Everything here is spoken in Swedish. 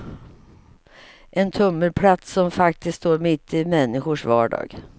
En tummelplats som faktiskt står mitt i människors vardag.